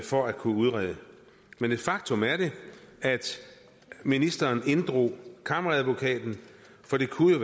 for at kunne udrede men et faktum er det at ministeren inddrog kammeradvokaten for det kunne